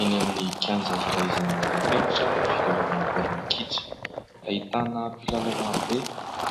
Eny amin'ny kianja iray izay manarapenitra filalaovana baolina kitra. Ahitana mpilalao marobe